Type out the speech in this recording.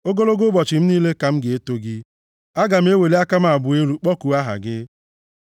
Ogologo ụbọchị m niile ka m ga-eto gị, aga m eweli aka m abụọ elu kpọkuo aha gị.